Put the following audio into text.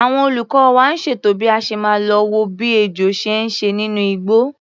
Àwọn olùkọ́ wa ń ṣètò bí a ṣe máa lo wo bí ejò ṣe ń ṣe nínú igbó.